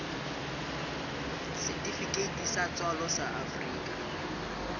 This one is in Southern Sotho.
setifikeiti sa tswalo sa afrika